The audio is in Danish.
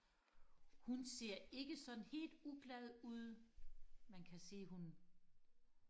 hun ser ikke sådan helt uglad ud man kan se hun